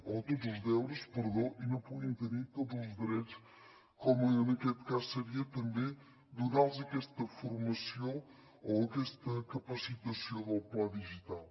o tots els deures perdó i no puguin tenir tots els drets com en aquest cas seria també donar los aquesta formació o aquesta capacitació del pla digital